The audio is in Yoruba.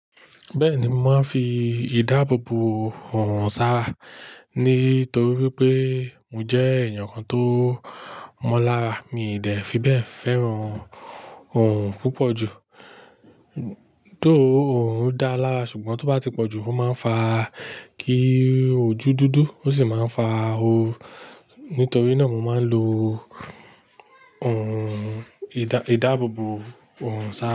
Bẹ́ẹ̀ni, mò ń fi ìdáàbòbò òòrùn sá á, nítorí wípé mò jẹ́ ènìyàn kan tó mọ́lá, mi ì dẹ̀ fi bẹ́ẹ̀ fẹ́ràn òòrùn púpọ̀ ju. Though òòrùn dá lára, ṣùgbọ́n tó bá ti pọ̀ jù, ó máa ń fa kí òjú dúdú, ó sì máa ń fa oru. Nítorí náà, mò máa ń lo ìdá-ìdáàbòbò òòrùn sá rá.